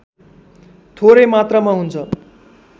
थोरै मात्रामा हुन्छ